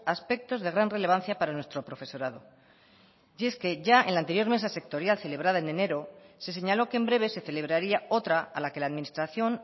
aspectos de gran relevancia para nuestro profesorado y es que ya en la anterior mesa sectorial celebrada en enero se señaló que en breve se celebraría otra a la que la administración